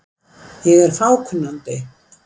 Ég er of fákunnandi.